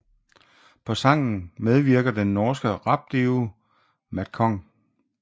På sangen medvirker den norske rapduo Madcon